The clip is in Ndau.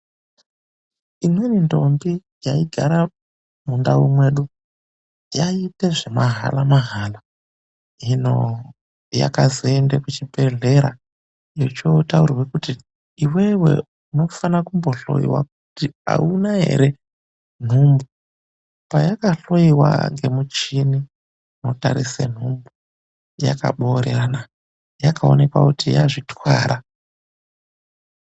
Imweni ndombi yaigara mundau mwedu yaiita zvemahala-mahala. Hino yakazoenda kuchibhedhlera yochootaurirwa kuti iwewe unofana kumbohloiwa kuti hauna ere nhumbu. Payakahloiwa nemichini inotarisa nhumbu, yakaboorerana, yakaonekwa kuti yazvitwara.